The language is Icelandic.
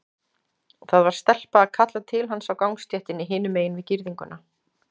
Það var stelpa að kalla til hans á gangstéttinni hinum megin við girðinguna.